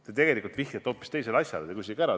Te tegelikult vihjate hoopis teisele asjale.